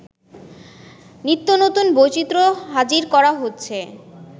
নিত্যনতুন বৈচিত্র্য হাজির করা হচ্ছে